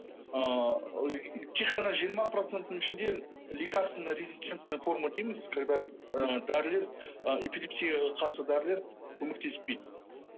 ыыы тек қана жиырма проценттің ішінде лекарственно резистентная форма дейміз когда ы дәрілер ы эпилепсияға қарсы дәрілер көмектеспейді